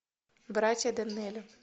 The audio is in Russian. братья доннелли